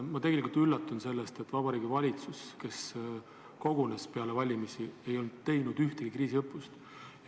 Ma tegelikult üllatun sellest, et Vabariigi Valitsus, kes kogunes peale valimisi, ei ole teinud ühtegi kriisiõppust.